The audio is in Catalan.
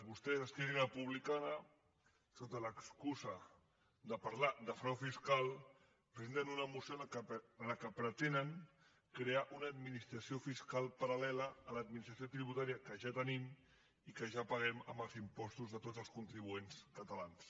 vos·tès esquerra republicana sota l’excusa de parlar de frau fiscal presenten una moció amb què pretenen crear una administració fiscal paral·lela a l’adminis·tració tributària que ja tenim i que ja paguem amb els impostos de tots els contribuents catalans